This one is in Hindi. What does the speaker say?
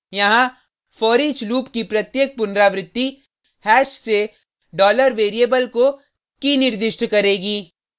यहाँ foreach लूप की प्रत्येक पुनरावृति हैश से $variable को key निर्दिष्ट करेगी